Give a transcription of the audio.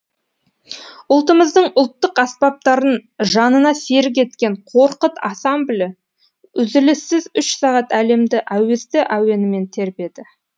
ұлтымыздың ұлттық аспаптарын жанына серік еткен қорқыт ансамблі үзіліссіз үш сағат әлемді әуезді әуенімен тербеді